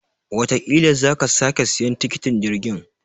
Watakila sa ka sake siyan tiketin jirgin.